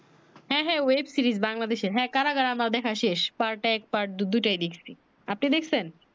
হ্যাঁ হ্যাঁ web series বাংলাদেশের হ্যাঁ কারাগার আমার দেখা শেষ part এক Part দুই টাই দেখছি আপনি দেখছেন